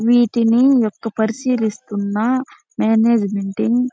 వీటిని పరిశీలిస్తున్న ఒక మేనేజ్మెంట్ టీం --